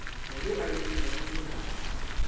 wo o itekago le ka